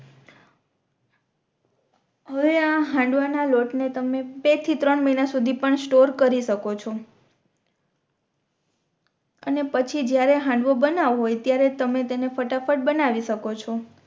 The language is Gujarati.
હવે આ હાંડવા ના લોટ ને તમે બે થી ત્રણ મહિના પણ સ્ટોરે કરી શકો છો અને પછી જ્યારે હાંડવો બનાવો હોય ત્યારે તમે તેને ફટાફટ બનાવી શકો છો